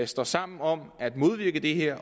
står sammen om at modvirke det her